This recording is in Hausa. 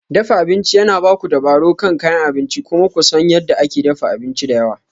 Dafa abinci yana ba ku dabaro kan kayan abinci kuma ku san yadda ake dafa abinci da yawa.